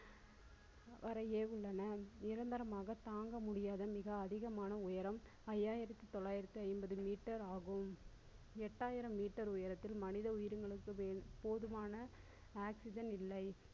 வரையே உள்ளன. நிரந்தரமாக தாங்க முடியாத மிக அதிகமான உயரம் ஐந்தாயிரத்தி தொள்ளாயிரத்தி ஐம்பது meter ஆகும் எட்டாயிரம் meter உயரத்தில் மனித உயிர்களுக்கு மேல் போதுமான oxygen இல்லை.